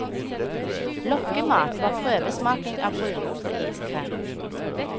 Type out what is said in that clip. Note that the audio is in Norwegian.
Lokkemat var prøvesmaking av brunost og iskrem.